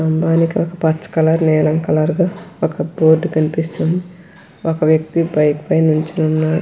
స్థంభానికి ఒక పచ్చ కలర్ నీలం కలర్లో ఒక బోర్డు కనిపిస్తుంది ఒక వ్యక్తి బైక్ పై నుంచుని ఉన్నాడు.